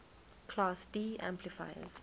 class d amplifiers